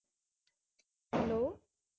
Hello